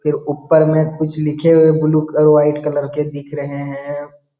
फिर ऊपर में कुछ लिखे हुए ब्लू क् और व्हाइट कलर के दिख रहे हैं ।